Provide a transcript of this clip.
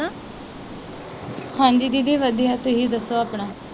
ਹਾਂਜੀ ਦੀਦੀ ਵਧੀਆ। ਤੁਸੀ ਦਸੋ ਆਪਣਾ?